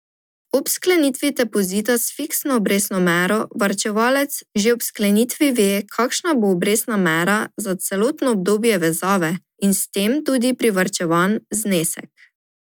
Ob sklenitvi depozita s fiksno obrestno mero varčevalec že ob sklenitvi ve, kakšna bo obrestna mera za celotno obdobje vezave in s tem tudi privarčevan znesek.